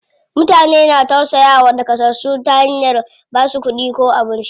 Mutane na tausayawa naƙasassu ta hanyar basu kuɗi ko abinci.